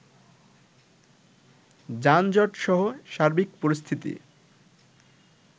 যানজটসহ সার্বিক পরিস্থিতি